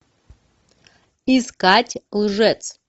искать лжец